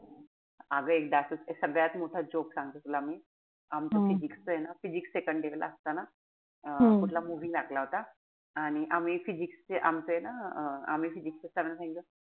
अगं एकदा असच सगळ्यात मोठा joke सांगते तुला मी. आमचं physics च ए ना physics second year असताना अं कुठला movie लागला होता. आणि आम्ही physics चे आमचे ना अं आम्ही physics च्या sir ना सांगितलं,